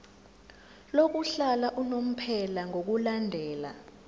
lokuhlala unomphela ngokulandela